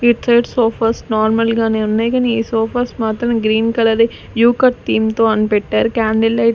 Hitler sofas నార్మల్ గానే ఉన్నాయి గనీ ఈ సోఫాస్ మాత్రం గ్రీన్ కలర్ యుకట్ థీమ్ తో అని పెట్టారు క్యాండిల్ లైట్ --